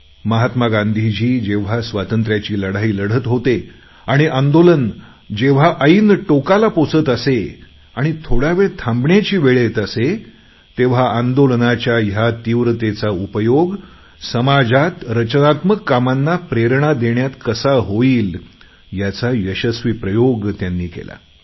महात्मा गांधीजी जेव्हा स्वातंत्र्याची लढाई लढत होते आणि आंदोलन जेव्हा ऐन टोकाला पोहचत असे आणि थोडावेळ थांबण्याची वेळ येत असे तेव्हा आंदोलनाच्या ह्या तीव्रतेचा उपयोग समाजात रचनात्मक कामांना प्रेरणा देण्यात कसा होईल याचा यशस्वी प्रयोग त्यांनी केला